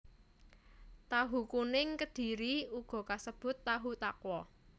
Tahu kuning Kedhiri uga kasebut tahu takwa